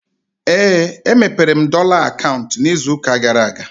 Éè, e mepere m dọla akaụntụ ịzụ ụka gara aga